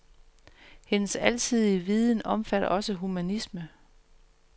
Hendes alsidige viden omfatter også humanisme.